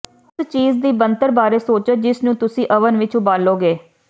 ਉਸ ਚੀਜ਼ ਦੀ ਬਣਤਰ ਬਾਰੇ ਸੋਚੋ ਜਿਸ ਨੂੰ ਤੁਸੀਂ ਓਵਨ ਵਿਚ ਉਬਾਲੋਗੇ